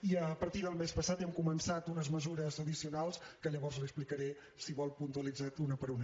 i a partir del mes passat hem començat unes mesures addicionals que llavors les hi explicaré si ho vol puntualitzades una per una